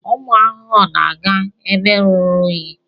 Ụmụ ahụhụ na-aga ebe ruru unyi.